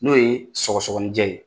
N'o ye sɔgɔsɔgɔni jɛ ye.